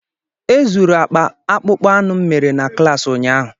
E zuru akpa akpụkpọ anụ m mere na klaasị ụnyaahụ.